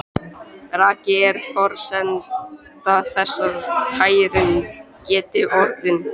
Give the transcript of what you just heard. Raki er forsenda þess að tæring geti orðið.